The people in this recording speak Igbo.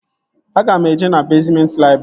Aga m eje na bezmenti laịbrị